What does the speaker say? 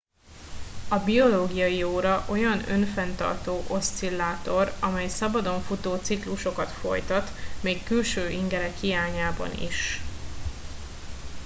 a biológiai óra olyan önfenntartó oszcillátor amely szabadon futó ciklusokat folytat még külső ingerek hiányában is